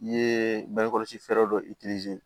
I ye bange kɔlɔsi fɛɛrɛ dɔ